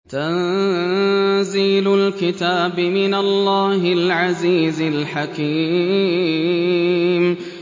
تَنزِيلُ الْكِتَابِ مِنَ اللَّهِ الْعَزِيزِ الْحَكِيمِ